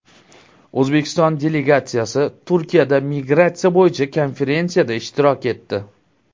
O‘zbekiston delegatsiyasi Turkiyada migratsiya bo‘yicha konferensiyada ishtirok etdi.